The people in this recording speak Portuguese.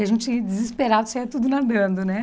A gente desesperado saia tudo nadando, né?